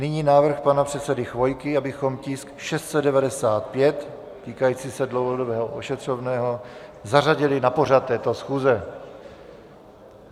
Nyní návrh pana předsedy Chvojky, abychom tisk 695, týkající se dlouhodobého ošetřovného, zařadili na pořad této schůze.